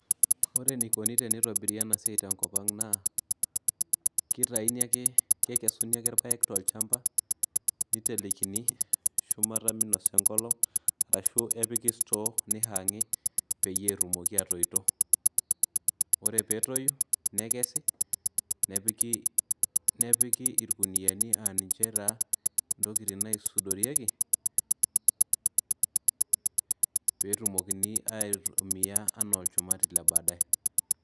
Ore enikoni pee itobiri ena siai tenkop naa kitayuni ake, kekesuni ake irpaek tolchamba niteleikini shumata minasa enkolong' arashu epiki store nihaangi peyie etumoki aatoito ore pee etoyu nekesi nepiki irkuniyiani aa ninche taa ntokitin naisudorieki pee etumokini aitumia enaa olchumati le baadaye.